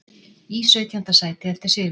Í sautjánda sæti eftir sigur